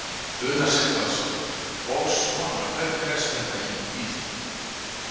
Una Sighvatsdóttir: Og svona, hvernig leggst þetta í þig?